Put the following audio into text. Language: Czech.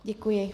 Děkuji.